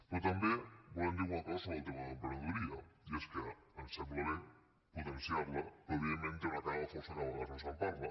però també volem dir alguna cosa sobre el tema de l’emprenedoria i és que ens sembla bé potenciar la però evidentment té una cara fosca que de vegades no se’n parla